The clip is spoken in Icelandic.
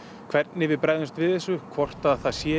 hvernig við bregðumst við þessu hvort að það sé